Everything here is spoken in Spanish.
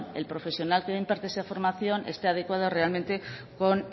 el profesional que imparte esa formación esté adecuado realmente con